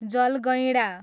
जलगैँडा